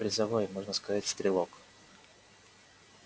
призовой можно сказать стрелок